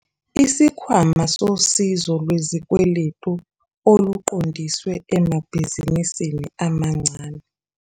Isikhwama Sosizo Lwezikweletu Oluqondiswe Emabhizinisini Amancane.